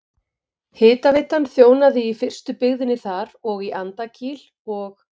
Hitaveitan þjónaði í fyrstu byggðinni þar og í Andakíl og